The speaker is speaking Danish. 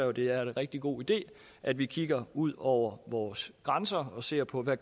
at det er en rigtig god idé at vi kigger ud over vores grænser og ser på hvad